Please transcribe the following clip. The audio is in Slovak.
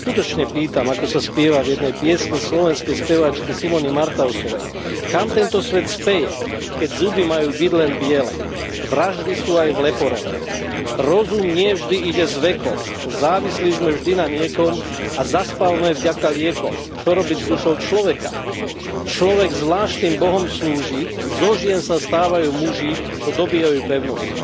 Tak sa skutočne pýtam, ako sa spieva v jednej piesni slovenskej speváčky Simony Martausovej kam tento svet speje, keď zuby majú byť len biele, vraždy sú aj v leporele, rozum nie vždy ide s vekom, závislí sme vždy na niekom, a zaspávame vďaka liekom, čo robiť s dušou človeka, človek zvláštnym bohom slúži, zo žien sa stávajú muži, čo dobývajú pevnosti.